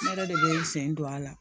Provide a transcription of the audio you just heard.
Ne yɛrɛ de bɛ n sen don a la